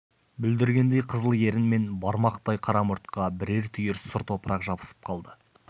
бүлдіргендей қызыл ерін мен бармақтай қара мұртқа бірер түйір сұр топырақ жабысып қалды